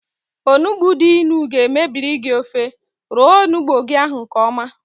Onugbu dị ịnụ ga mebiri gị ofe, roo onugbu ahụ nkeọma